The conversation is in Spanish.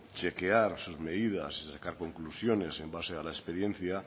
chequear sus medidas y sacar conclusiones en base a la experiencia